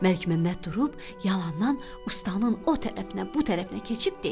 Məlikməmməd durub yalandan ustanın o tərəfinə, bu tərəfinə keçib dedi: